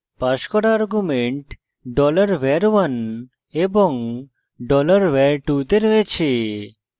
passed করা arguments $var1 এবং $var2 the রয়েছে